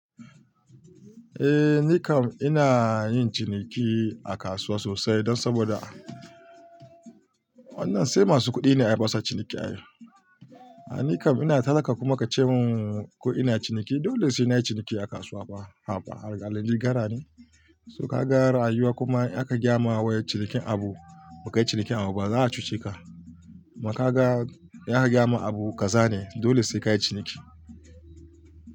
Eh ni kam ina yin ciniki a kasuwa sosai don saboda wannan sai masu kuɗi ne ayi basu ciniki. Ni kam ina talaka kuma kace min ko ina ciniki? Dole sai nayi ciniki a kasuwa fa, har ga Allah ni gara ne. So ka ga rayuwa kuma in ayiwa kuma aka gyamawa cinikin abu, ba ka yi cinikin abu ba za a cuce ka. Makaga ya gayamin abu kaza ne, dole sai ka yi ciniki.